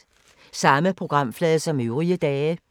Samme programflade som øvrige dage